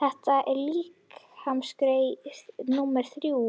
Þetta er líkamsgerð númer þrjú,